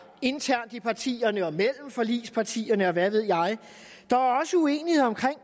internt i partierne og mellem forligspartierne og hvad ved jeg der er også uenighed om